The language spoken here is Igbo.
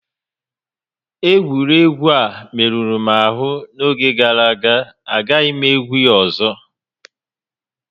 Egwuregwu a merụrụ m ahụ n'oge gàrà aga, agaghị m egwu a ọzọ